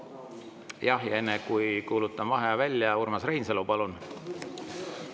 Jah, enne kui kuulutan vaheaja välja, Urmas Reinsalu, palun!